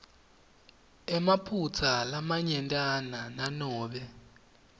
emaphutsa lamanyentana nanobe